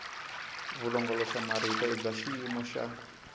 vulongoloxamarito i bya xiyimo xa